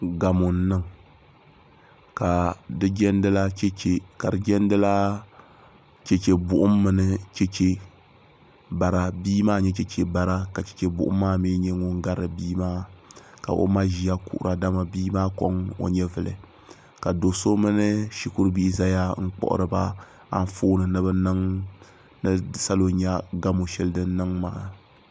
Gamo n niŋ ka di jɛndila chɛchɛ buɣum mini chɛchɛ bara bia maa n nyɛ chɛchɛ bara ka chɛchɛ buɣum maa mii nyɛ din gari bia maa ka o ma ʒɛya kuhura dama bia maa koŋ o nyɛvuli ka do so mini shikuru bihi ʒɛya n kpuɣuriba Anfooni ni ni salo nyɛ gamo shɛli din niŋ maa